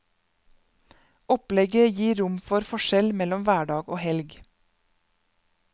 Opplegget gir rom for forskjell mellom hverdag og helg.